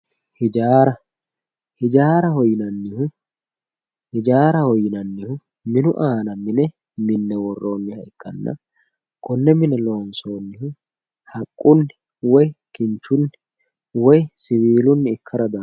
hijaara hijaaraho yinannihu minu aana mine minne worronnire ikkanna konne mine loonsoonnihu haqqunni woyi kinchunni woyi siwiilunni ikkara dandaanno